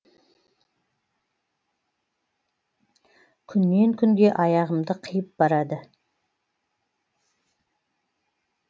күннен күнге аяғымды қиып барады